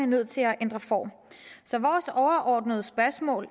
nødt til at ændre form så vores overordnede spørgsmål